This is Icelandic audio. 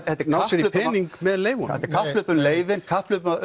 ná sér í pening með leyfunum þetta er kapphlaup um leyfin kapphlaup